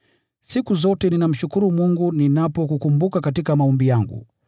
Siku zote ninamshukuru Mungu ninapokukumbuka katika maombi yangu,